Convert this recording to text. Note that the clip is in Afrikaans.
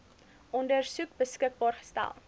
ondersoek beskikbaar gestel